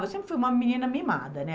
Eu sempre fui uma menina mimada, né?